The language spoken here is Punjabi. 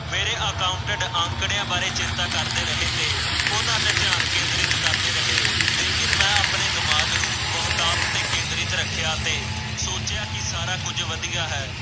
ਮੇਰੇ ਅਕਾਉਂਟੈੰਟ ਅੰਕੜਿਆ ਬਾਰੇ ਚੇਤਾ ਕਰਦੇ ਰਹੇ ਤੇ ਉਹਨਾਂ ਦਾ ਧਿਆਨ ਕੇਂਦਰਿਤ ਕਰਦੇ ਰਹੇ ਲੇਕਿਨ ਮੈਂ ਆਪਣੇ ਦਿਮਾਗ ਨੂੰ ਬਹੁਤਾਤ ਤੇ ਕੇਂਦਰਿਤ ਰੱਖਿਆ ਤੇ ਸੋਚਿਆ ਕਿ ਸਾਰਾ ਕੁਝ ਵਧੀਆ ਹੈ।